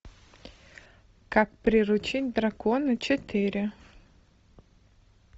как приручить дракона четыре